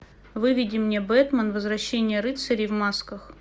выведи мне бэтмен возвращение рыцарей в масках